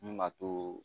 Mun b'a to